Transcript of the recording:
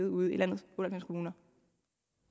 ude i landets otte